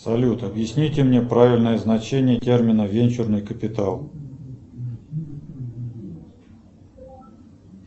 салют объясните мне правильное значение термина венчурный капитал